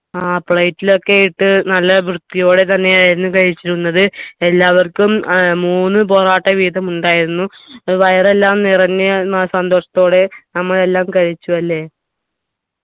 ആ plate ലൊക്കെ ഇട്ട് നല്ല വൃത്തിയോടെ തന്നെയായിരുന്നു കഴിച്ചിരുന്നത് എല്ലാവർക്കും ഏർ മൂന്ന് പൊറാട്ട വീതം ഉണ്ടായിരുന്നു ഏർ വയറെല്ലാം വയറെല്ലാം നിറഞ്ഞി രുന്ന ആ സന്തോഷത്തോടെ നമ്മൾ എല്ലാം കഴിച്ചു അല്ലെ